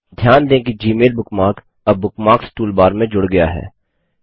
ध्यान दें कि जीमेल बुकमार्क अब बुकमार्क्स टूलबार में जुड़ गया है